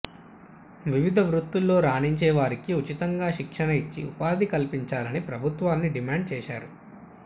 వివిధ వృత్తుల్లో రాణించే వారికి ఉచితంగా శిక్షణ ఇచ్చి ఉపాధి కల్పించాలని ప్రభుత్వాన్ని డిమాండ్ చేశారు